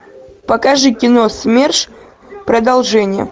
покажи кино смерш продолжение